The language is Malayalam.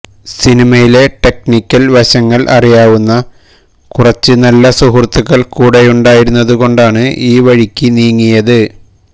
സിനിമയുടെ ടെക്നിക്കല് വശങ്ങള് അറിയാവുന്ന കുറച്ച് നല്ല സുഹൃത്തുക്കള് കൂടെയുണ്ടായിരുന്നതുകൊണ്ടാണ് ഈ വഴിക്ക് നീങ്ങിയത്